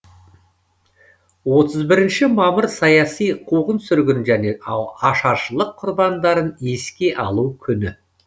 отыз бірінші мамыр саяси қуғын сүргін және ашаршылық құрбандарын еске алу күні